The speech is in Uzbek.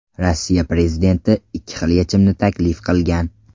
Rossiya prezidenti ikki xil yechimni taklif qilgan.